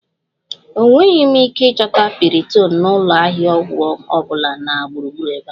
Enweghị m ike ịchọta piriton na ụlọ ahịa ọgwụ ọ bụla na gburugburu ebe a